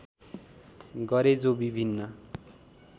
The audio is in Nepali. गरे जो विभिन्न